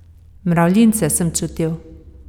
Mravljince sem čutil.